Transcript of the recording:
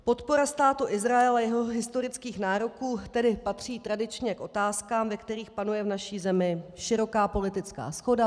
Podpora Státu Izrael a jeho historických nároků tedy patří tradičně k otázkám, ve kterých panuje v naší zemi široká politická shoda.